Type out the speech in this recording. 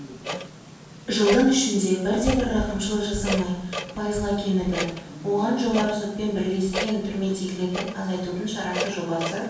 жылдың ішінде бірде-бір рақымшылық жасамай пайызға кеміді оған жоғарғы сотпен бірлескен түрмедегілерді азайтудың шарасы жобасы